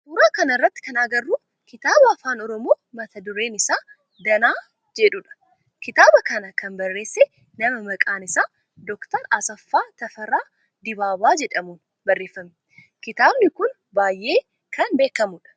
Suuraa kana irratti kan agarru kitaaba afaan oromoo mata dureen isaa Danaa jedhudha. Kitaaba kana kan barreesse nama maqaan isaa Dr. Asaffaa Tafarraa Dibaabaa jedhamun barreeffame. Kitaabni kun baayyee kan beekamudha.